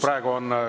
Praegu on …